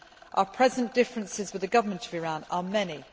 Our present differences with the Government of Iran are many